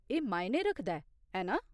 एह् मायने रखदा ऐ, ऐ ना ?